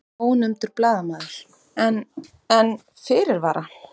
Ónefndur blaðamaður: En, en fyrirvara?